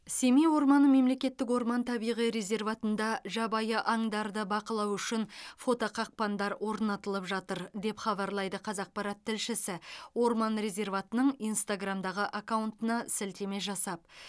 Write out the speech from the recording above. семей орманы мемлекеттік орман табиғи резерватында жабайы аңдарды бақылау үшін фотоқақпандар орнатылып жатыр деп хабарлайды қазақпарат тілшісі орман резерватының инстаграмдағы аккаунтына сілтеме жасап